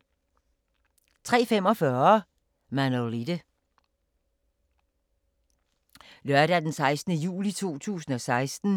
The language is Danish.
Lørdag d. 16. juli 2016